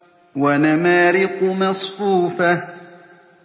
وَنَمَارِقُ مَصْفُوفَةٌ